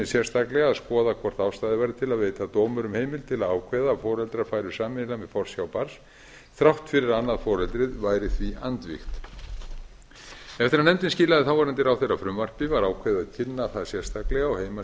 sérstaklega að skoða hvort ástæða væri til að veita dómurum heimild til að ákveða að foreldrar færu sameiginlega með forsjá barns þrátt fyrir að annað foreldrið væri því andvígt eftir að nefndin skilaði ráðherra frumvarpi var ákveðið að kynna það sérstaklega á